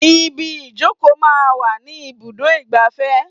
Ibi ìjókòó máa ń wà ní ibùdó igbàfẹ́.